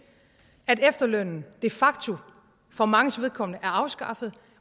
at efterlønnen de facto for manges vedkommende er afskaffet